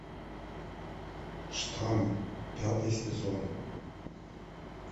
штамм пятый сезон